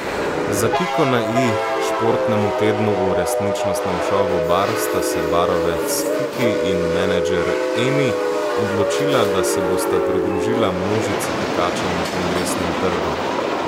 Za piko na i športnemu tednu v resničnostnem šovu Bar sta se barovec Kiki in menedžer Emi odločila, da se bosta pridružila množici tekačev na Kongresnem trgu.